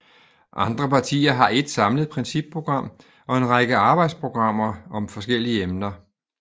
Andre partier har ét samlet principprogram og en række arbejdsprogrammer om forskellige emner